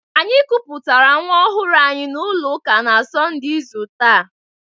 Anyị kupụtara nwa ọhụrụ anyị n'ụlọ ụka na Sọnde izu taa.